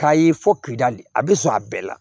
K'a ye fɔ kidali a bɛ sɔn a bɛɛ la